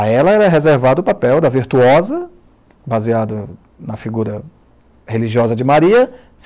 A ela era reservado o papel da virtuosa, baseado na figura religiosa de Maria.